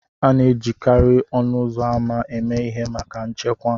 A na-ejikarị ọnụ ụzọ ámá eme ihe maka nchekwa